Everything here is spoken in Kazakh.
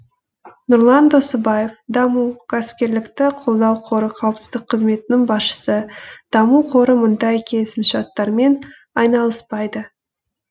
нұрлан досыбаев даму кәсіпкерлікті қолдау қоры қауіпсіздік қызметінің басшысы даму қоры мұндай келісімшарттармен айналыспайды